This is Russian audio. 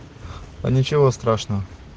а ничего страшного